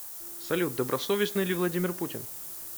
салют добросовестный ли владимир путин